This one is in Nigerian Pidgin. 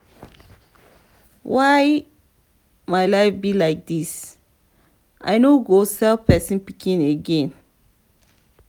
why my life be like dis. i no go sell person pikin again.